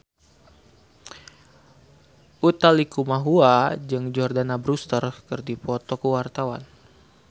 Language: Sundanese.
Utha Likumahua jeung Jordana Brewster keur dipoto ku wartawan